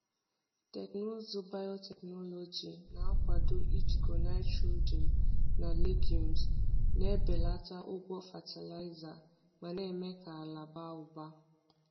Teknụzụ biotechnology na-akwado ijikọ nitrogen na legumes, na-ebelata ụgwọ fatịlaịza ma na-eme ka ala baa ụba.